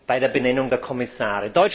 bei der Benennung der Kommissare.